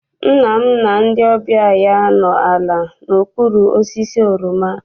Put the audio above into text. Nna m na ndị ọbịa ya nọ ala n'okpuru osisi oroma.